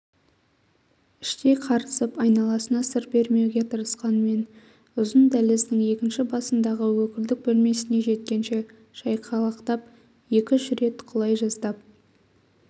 іштей қарысып айналасына сыр бермеуге тырысқанмен ұзын дәліздің екініш басындағы өкілдік бөлмесіне жеткенше шайқалақтап екі-үш рет құлай жаздап